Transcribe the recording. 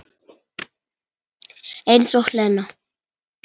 Eins og Lena!